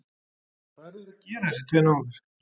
Hvað eru þeir að gera, þessir tveir náungar?